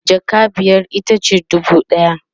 jaka biyar itace dubu ɗaya